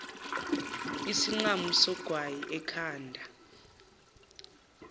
isinqamu sogwayi ekhanda